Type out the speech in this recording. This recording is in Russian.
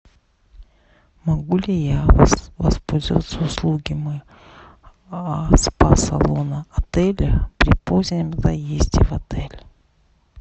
могу ли я воспользоваться услугами спа салона отеля при позднем заезде в отель